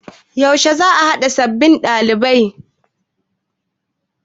Yaushe za'a naɗa sabbin dalibai.